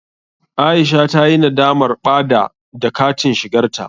Aisha ta yi nadamar ɓada da katin shigarta.